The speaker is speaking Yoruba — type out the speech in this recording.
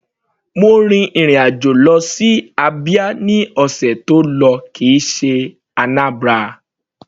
Mo rin ìrìn àjò lọ sí Abia ní ọ̀sẹ̀ tó lọ kìí ṣe Anambra.